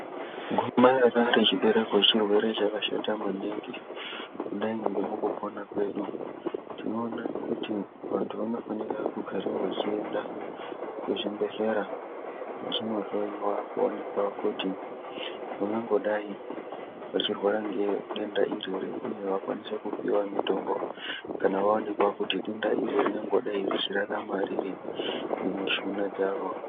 Gomarara rechibereko chirwere chakashata yaamho ,vanthukadzi vanofanirwa kuramba vachienda kuzvibhehlera kunoongororwa kuti avasi kurarama nedenda racho ere.